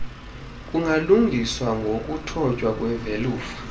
kungalungiswa ngokuthotywa kwevelufa